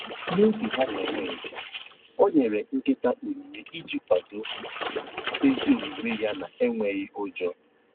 N'oge ha na-eme njem, ọ nyere nkịta onyinye iji kwadoo ezi omume ya na enweghị ụjọ